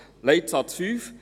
Leitsatz 5